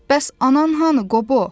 Bəs anan hanı Qobo?